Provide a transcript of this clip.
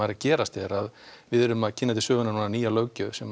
að gerast er að við erum að kynna til sögunnar nýja löggjöf sem